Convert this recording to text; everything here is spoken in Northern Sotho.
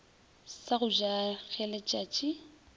sa go ja ge letšatsi